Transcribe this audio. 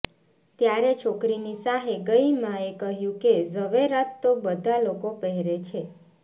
ત્યારે છોકરીની સાહે ગઈ માએ કહ્યું કે ઝવેરાત તો બધા લોકો પહેરે છે